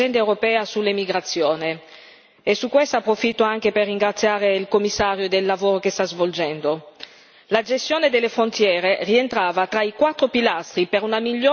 E su questo approfitto anche per ringraziare il Commissario del lavoro che sta svolgendo. La gestione delle frontiere rientrava tra i quattro pilastri per una migliore gestione del fenomeno migratorio.